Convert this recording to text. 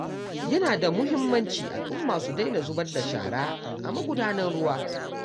Yana da muhimmaci al'umma su daina zubar da shara a magudanan ruwa.